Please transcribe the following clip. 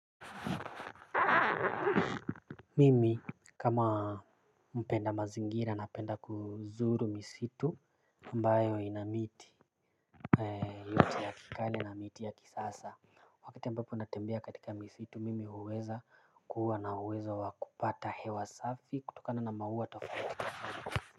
Mimi kama mpenda mazingira napenda kuzuru misitu ambayo ina miti yote ya kikale na miti ya kisasa. Wakita ambapo natembea katika misitu mimi huweza kuwa na uweza wakupata hewa safi kutokana na maua tofauti.